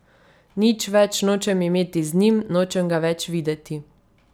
Nič več nočem imeti z njim, nočem ga več videti.